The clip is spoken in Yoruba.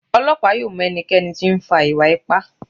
Ọlọpa yóò m ẹnikẹni ti o nfa iwa-ipa